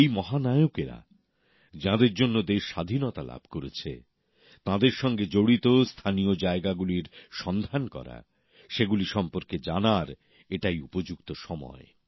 যে সব মহানায়কদের জন্য দেশ স্বাধীনতা লাভ করেছে তাঁদের সঙ্গে জড়িত স্থানীয় জায়গাগুলির সন্ধান করা সেগুলি সম্পর্কে জানার এই উপযুক্ত সময়